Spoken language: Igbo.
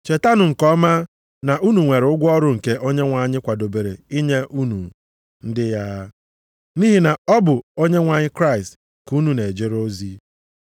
Chetanụ nke ọma na unu nwere ụgwọ ọrụ nke Onyenwe anyị kwadobere inye unu, ndị ya. Nʼihi na ọ bụ Onyenwe anyị Kraịst ka unu na-ejere ozi.